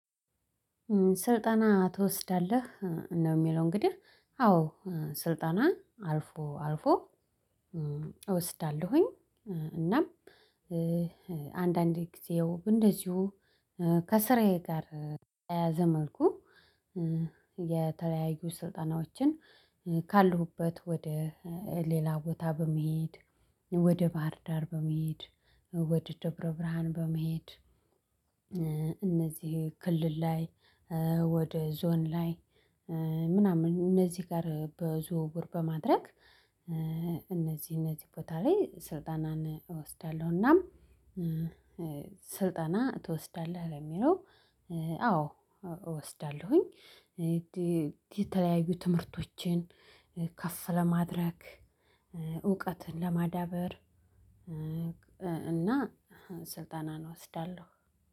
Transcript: ስልጣና ትወስዳለህ? ነው የሚለው እንግዲህ አዎ ስልጣና አልፎ አልፎ እወስዳለሁኝ እናም አንዳንዴ ጊዜው እንደዚሁ ከስራዬ ጋር ተያያዘ መልኩ የተለያዩ ስልጣናዎችን ካሉበት ወደ ሌላ ቦታ በመሄድ፤ ወደ ባህርዳር በመሄድ፤ ወደ ደብረ ብርሃን በመሄድ እነዚህ ክልል፤ ላይ ወደ ዞን ላይ፤ ምናምን እነዚህ ጋር በዝውውር በማድረግ እነዚህ እነዚህ ቦታ ላይ ስልጠናን እወስዳለሁና ስልጠና ትወስዳለህ? ለሚለው አዎ እወስዳለሁኝ። የተለያዩ ትምህርቶችን ከፍ ለማድረግ፤ እውቀትን ለማዳበር እና ስልጠና እወስዳለሁ።